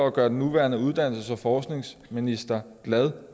at gøre den nuværende uddannelses og forskningsminister glad